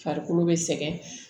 Farikolo bɛ sɛgɛn